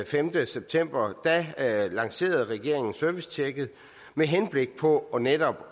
femte september lancerede regeringen servicetjekket med henblik på netop